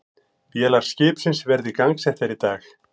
Vélar skipsins verði gangsettar í dag